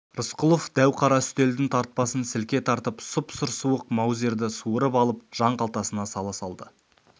рысқұлов дәу қара үстелдің тартпасын сілке тартып сұп-сұр суық маузерді суырып алып жан қалтасына сала салды